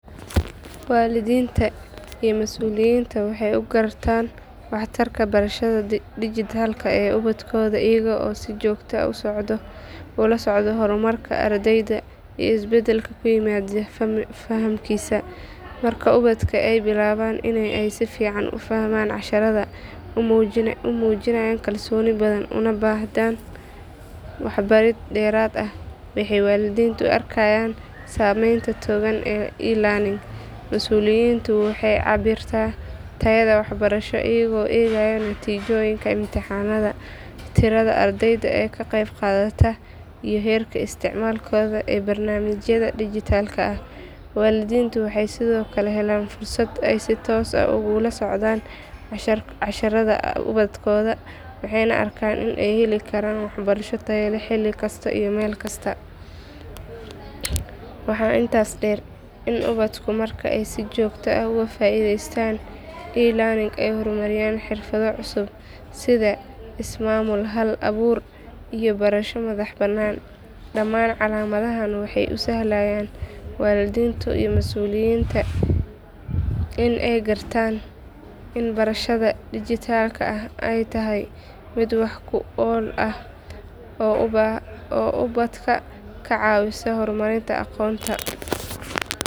Waalidiinta iyo mas’uuliyiinta waxay u gartaan waxtarka barashada dhijitaalka ah ee ubadkooda iyaga oo si joogto ah ula socdo horumarka ardayga iyo isbedelka ku yimaada fahamkiisa. Marka ubadka ay bilaabaan in ay si fiican u fahmaan casharrada, u muujiyaan kalsooni badan, una baahnaan waxbarid dheeraad ah waxay waalidiintu arkayaan saameynta togan ee elearning. Mas’uuliyiintuna waxay cabbiraan tayada waxbarasho iyaga oo eegaya natiijooyinka imtixaannada, tirada ardayda ka qaybqaadata iyo heerka isticmaalkooda ee barnaamijyada dhijitaalka ah. Waalidiintu waxay sidoo kale helaan fursad ay si toos ah ugu la socdaan casharrada ubadkooda, waxayna arkaan in ay heli karaan waxbarasho tayo leh xilli kasta iyo meel kasta. Waxaa intaas dheer in ubadku marka ay si joogto ah uga faa’iidaystaan elearning ay horumariyaan xirfado cusub sida ismaamul, hal abuur iyo barasho madax bannaan. Dhammaan calaamadahan waxay u sahlayaan waalidiinta iyo mas’uuliyiinta in ay gartaan in barashada dhijitaalka ah ay tahay mid wax ku ool ah oo ubadka ka caawisa horumarinta aqoontooda.